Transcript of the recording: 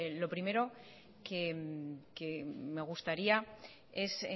lo primero que me gustaría es